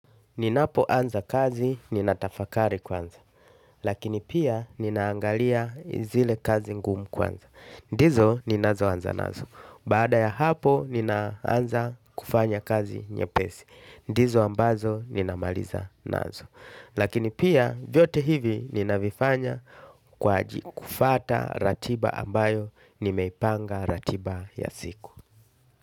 Ninapo anza kazi ninatafakari kwanza. Lakini pia ninaangalia zile kazi ngumu kwanza. Ndizo ninazo anza nazo. Bada ya hapo ninaanza kufanya kazi nyepesi. Ndizo ambazo ninamaliza nazo. Lakini pia vyote hivi ninavifanya kwa aji kufata ratiba ambayo nimeipanga ratiba ya siku.